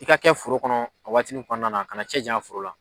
I ka kɛ foro kɔnɔ a waatini kɔnɔna na kana cɛ janya foro la